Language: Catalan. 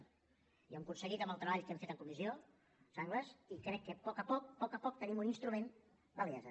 i ho hem aconseguit amb el treball que hem fet en comissió sanglas i crec que a poc a poc tenim un instrument amb validesa